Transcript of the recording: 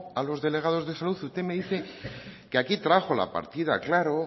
a los delegados de salud usted me dice que trajo aquí la partida claro